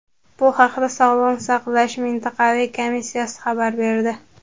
Bu haqda Sog‘liqni saqlash mintaqaviy komissiyasi xabar berdi .